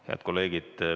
Head kolleegid!